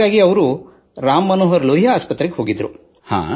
ಹಾಗಾಗಿ ರಾಮ್ ಮನೋಹರ್ ಲೋಹಿಯಾ ಆಸ್ಪತ್ರೆಗೆ ತೆರಳಿದ್ದರು